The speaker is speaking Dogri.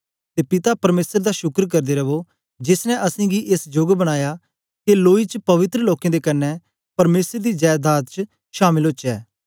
ते पिता परमेसर दा शुक्र करदे रवो जेस ने असेंगी एस जोग बनाया के लोई च पवित्र लोकें दे कन्ने परमेसर दी जैदाद च शामल ओचै